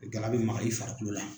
Gala bɛ maga i farikolo la.